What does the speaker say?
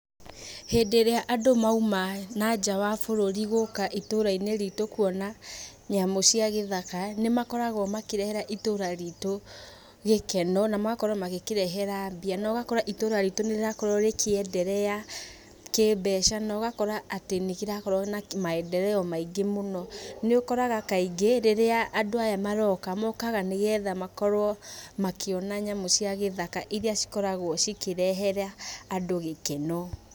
Hĩndĩ ĩrĩa andũ mauma na nja wa bũrũri gũka itũrainĩ ritũ kuona nyamũ cia gĩthaka, nĩmakoragwo makĩrehera itũra rĩtũ gĩkeno, na magakorwo makĩrehe mbia. Na ũgakora itũra rĩtũ no rĩrakorwo rĩkĩenderea kĩmbeca na ũgakora nĩrĩrakorwo na maendeleo maingĩ mũno nĩũkoraga kaingĩ rĩrĩa andũ aya maroka nĩgetha makorwo makĩona nyamũ cia gĩthaka iria cigĩkoragwo cikĩrehera andũ gĩkeno.